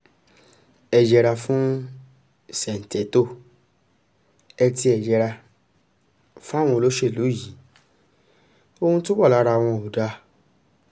ẹ yẹra fún ṣèǹtẹ́tò ẹ tiẹ̀ yẹra fáwọn olóṣèlú yìí ohun tó wà lára wọn ò dáa